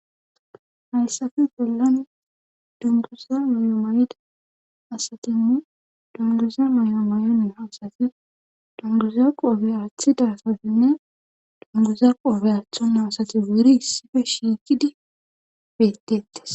Hayssafe bollan dunguza mayo may7da asatinne dunguza may7o may7one haasati dunguza qoobe athida satinne dunguza qoofe aatho naasati buri issife shiiqidi bettettes.